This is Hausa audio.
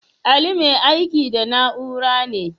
Ali mai aiki da na'ura ne?